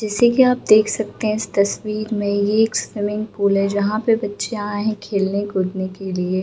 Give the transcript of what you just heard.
जैसे कि आप देख सकते हैं इस तस्वीर में ये एक स्विमिंग पूल है जहाँ पे बच्चें आए हैं खेलने कूदने के लिए।